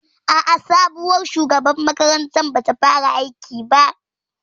A'a, sabuwar shugabar makarantar bata fara aiki ba